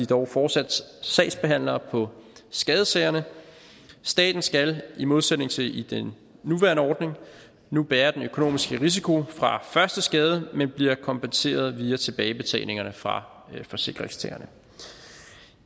dog fortsat sagsbehandlere på skadessagerne staten skal i modsætning til i den nuværende ordning nu bære den økonomiske risiko fra første skade men bliver kompenseret via tilbagebetalingerne fra forsikringstagerne